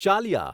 Chaliya